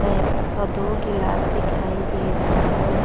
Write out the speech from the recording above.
है औ दो गिलास दिखाई दे रहा है।